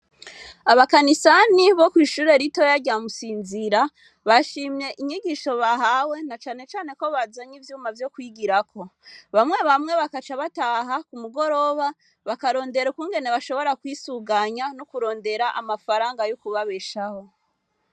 Abakanisani bo kw'ishure ritoya rya musinzìra, bashimye inyigisho bahawe na cane cane ko bazanye ivyuma vyo kwigirako. Bamwe bamwe bagaca bataha kumugoroba, bakarondera ukungene bashobora kwisuganya no kurondera amafaranga yo kubabeshaho.